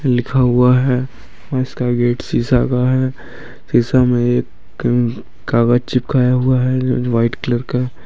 लिखा हुआ है और इसका गेट शीशा का है शीशा में एक कागज चिपकाया हुआ है वाइट कलर का।